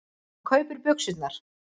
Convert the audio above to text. Hún kaupir buxurnar.